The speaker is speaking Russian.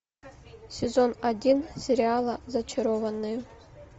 сезон один сериала зачарованные